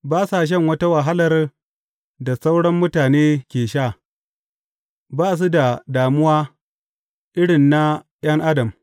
Ba sa shan wata wahalar da sauran mutane ke sha; ba su da damuwa irin na ’yan adam.